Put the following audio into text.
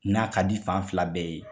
N'a ka di fan fila bɛɛ ye.